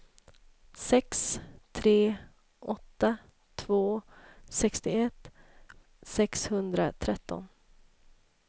sex tre åtta två sextioett sexhundratretton